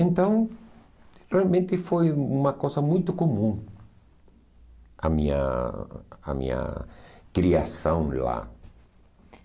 Então, realmente foi uma coisa muito comum a minha a minha criação lá.